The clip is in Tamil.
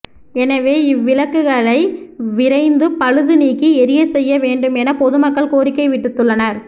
எனவே இவ் விளக்குகளை விரைந்து பழுது நீக்கி எரியச் செய்ய வேண்டும் என பொது மக்கள் கோரிக்கை விடுத்துள்ளனா்